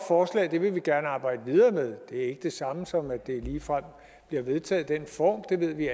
og at det vil man gerne arbejde videre med det er ikke det samme som at det ligefrem bliver vedtaget i den form det ved vi